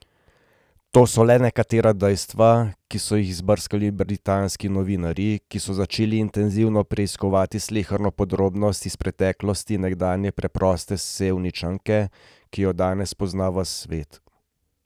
To so le nekatera dejstva, ki so jih izbrskali britanski novinarji, ki so začeli intenzivno preiskovati sleherno podrobnost iz preteklosti nekdaj preproste Sevničanke, ki jo danes pozna ves svet.